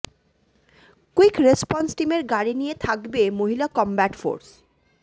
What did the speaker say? quick response টিমের গাড়ি নিয়ে থাকবে মহিলা কমব্যাট ফোর্স